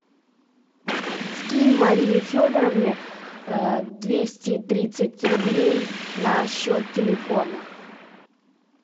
скинь марии федоровне двести тридцать рублей на счет телефона